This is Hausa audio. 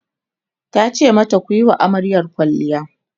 tace mata "kuyi wa amaryar kwalliya!"